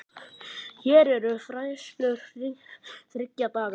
Hér eru færslur þriggja daga.